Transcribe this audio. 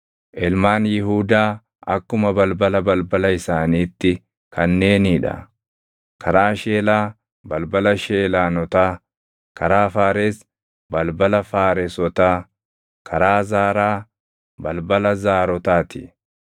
Ilmaan Yihuudaa akkuma balbala balbala isaaniitti kanneenii dha: karaa Sheelaa, balbala Sheelaanotaa; karaa Faares, balbala Faaresotaa; karaa Zaaraa, balbala Zaarotaa ti.